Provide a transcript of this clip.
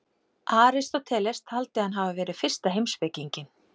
Aristóteles taldi hann hafa verið fyrsta heimspekinginn.